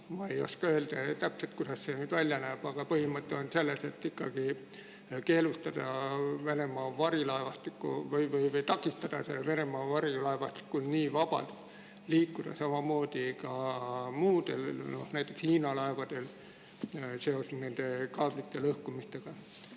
Ma ei oska täpselt öelda, kuidas see välja näeb, aga põhimõte on selles, et tuleks ikkagi takistada Venemaa varilaevastikul nii vabalt liikuda, samuti muudel laevadel, näiteks Hiina omadel – just kaablite lõhkumise tõttu.